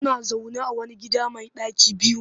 Suna zaune a wani gida mai ɗaki biyu